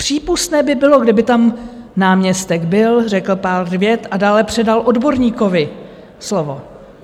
Přípustné by bylo, kdyby tam náměstek byl, řekl pár vět a dále předal odborníkovi slovo.